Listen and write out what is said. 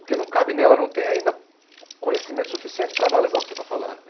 Porque não cabe nela, ela não tem ainda conhecimento suficiente para analisar o que você está falando.